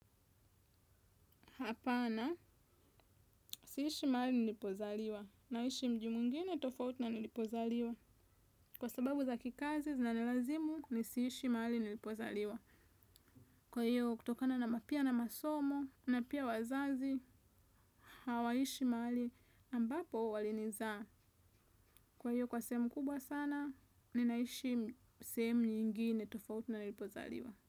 Hapana, siishi mahali nilipozaliwa. Naishi mji mwingine tofauti na nilipozaliwa. Kwa sababu za kikazi, zinanilazimu ni siishi mahali nilipozaliwa. Kwa hiyo, kutokana na mapia na masomo, na pia wazazi, hawaishi mahali ambapo walinizaa. Kwa hiyo, kwa sehemu kubwa sana, ninaishi sehemu nyingine tofauti na nilipozaliwa.